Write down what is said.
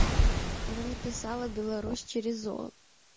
она написала беларусь через о